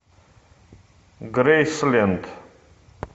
грейсленд